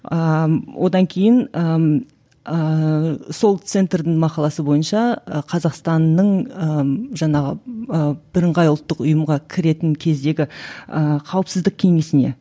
ыыы одан кейін ыыы сол центрдің мақаласы бойынша і қазақстанның ыыы жаңағы ы бірыңғай ұлттық ұйымға кіретін кездегі ііі қауіпсіздік кеңесіне